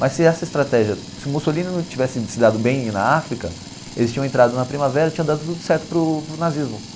Mas se essa estratégia, se o Mussolini não tivesse se dado bem na África, eles tinham entrado na Primavera e tinha dado tudo certo para o para o nazismo.